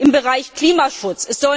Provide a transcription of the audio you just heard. im Bereich Klimaschutz.